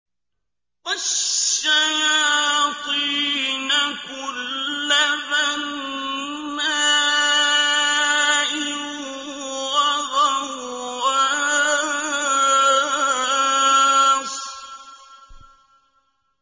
وَالشَّيَاطِينَ كُلَّ بَنَّاءٍ وَغَوَّاصٍ